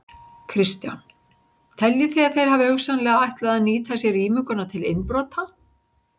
Kristján: Teljið þið að þeir hafi hugsanlega ætlað að nýta sér rýminguna til innbrota?